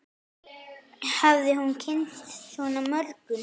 Hafði hún kynnst svona mörgum?